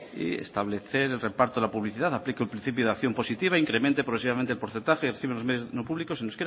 y establecer el reparto de la publicidad aplica el principio de acción positiva incremente progresivamente el porcentaje menos no públicos en